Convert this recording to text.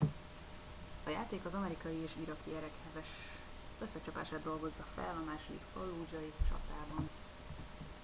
a játék az amerikai és iraki erek heves összecsapását dolgozza fel a második fallúdzsai csatában